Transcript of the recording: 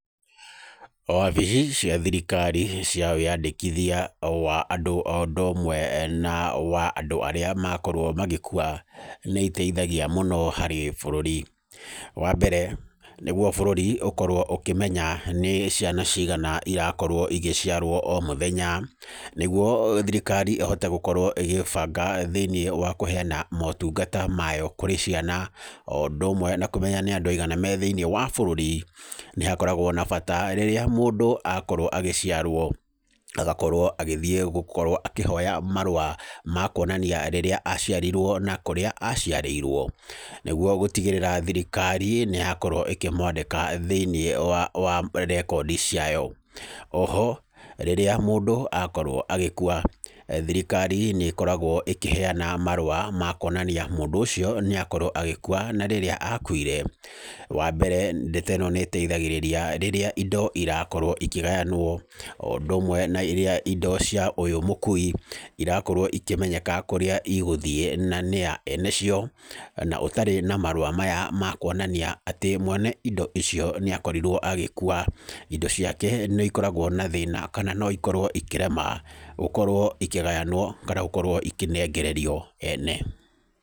Wabici cia thirikari cia wĩyandĩkithia wa andũ o ũndũ ũmwe na wa andũ arĩa makorwo magĩkua nĩiteithagia mũno harĩ bũrũri. Wambere nĩguo bũrũri ũkorwo ũkĩmenya nĩ ciana cigana irakorwo igĩciarwo o mũthenya. Nĩguo thirikari ĩhote gũkorwo ĩgĩbanga thĩinĩ wa kũheyana motungata mayo kũrĩ ciana, o ũndũ ũmwe na kũmenya nĩ andũ aigana me thĩinĩ wa bũrũri. Nĩ hakoragwo na bata hĩndĩ ĩrĩa mũndũ akorwo agĩciarwo agakorwo agĩthiĩ gũkorwo akĩhoya marũa ma kuonania rĩrĩa aciarirwo na kũrĩa aciarĩirwo. Nĩguo gũtigĩrĩra thirikari nĩyakorwo ĩkĩmwandĩka thĩinĩ wa rekondi ciayo. Oho rĩrĩa mũndũ akorwo agĩkua thirikari nĩkoragwo ĩkĩheyana marũa ma kuonania mũndũ ũcio nĩakorwo agĩkua na rĩrĩa akuire. Wambere ndeto ĩno nĩkoragwo ĩgĩteithĩrĩria rĩrĩa indo irakorwo ikĩgayanwo. Na ũndũ ũmwe rĩrĩa indo cia ũyũ mũkui irakorwo ikĩmenyeka kũrĩa igũthiĩ na nĩa ene cio. Na ũtarĩ na marũa maya ma kuonania atĩ mwene indo icio nĩakorirwo agĩkua indo ciake nĩikoragwo na thĩna na noikorwo ikĩrema gũkorwo ikĩgayanwo kana gũkorwo ikĩnengererio ene.